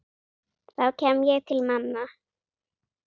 þá kem ég til manna.